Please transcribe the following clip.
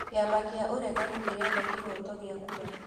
Kĩama kĩa ũregani kĩrenda kĩhoto gĩa kura